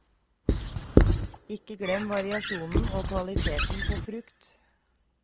Ikke glem variasjonen og kvaliteten på frukt.